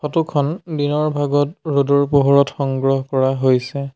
Photo খন দিনৰ ভাগত ৰ'দৰ পোহৰত সংগ্ৰহ কৰা হৈছে।